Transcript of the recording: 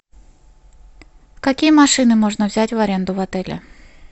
какие машины можно взять в аренду в отеле